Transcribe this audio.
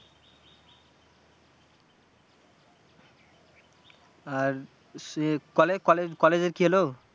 আর সেই কলে college collage এর কি হলো?